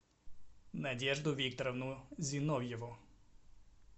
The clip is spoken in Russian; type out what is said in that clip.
надежду викторовну зиновьеву